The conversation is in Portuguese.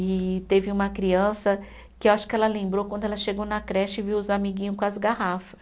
E teve uma criança que eu acho que ela lembrou quando ela chegou na creche e viu os amiguinho com as garrafas.